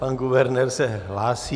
Pan guvernér se hlásí.